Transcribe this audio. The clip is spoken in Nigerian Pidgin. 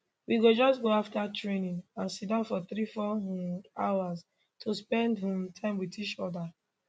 we go just go afta training and siddon for three four um hours to spend um time wit each oda